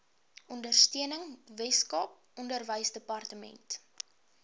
ondersteuning weskaap onderwysdepartement